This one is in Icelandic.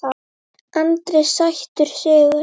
Andri: Sætur sigur?